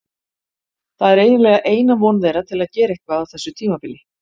Það er eiginlega eina von þeirra til að gera eitthvað á þessu tímabili.